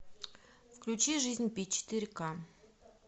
включи жизнь пи четыре к